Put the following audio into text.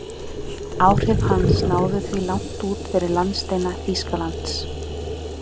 Leikurinn fór fram á Húsavík í talsverðum kulda og duglegri norðanátt.